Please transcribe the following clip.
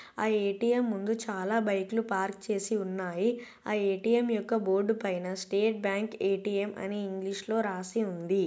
ఆ ఎ.టి.ఎం ముందు చాలా బైక్ లు పార్క్ చేసి ఉన్నాయి ఆ ఎ.టి.ఎం యొక్క బోర్డు పైన స్టేట్ బ్యాంకు ఎ.టి.ఎం అని ఇంగ్లీష్ లో రాసి ఉంది.